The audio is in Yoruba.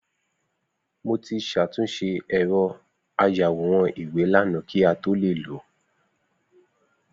Mo ti ṣàtúnṣe ẹ̀rọ ayàwòrán-ìwé lànà kí a tó le lo